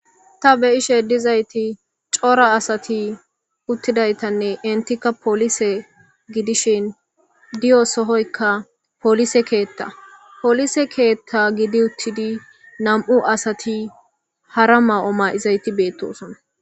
Ta beishe dizayis coora asati utidayasanee enitika polise gidishin day sohoyika polise ketta polise ketta gidi utidi na'u asati hara ma'omaizasi betes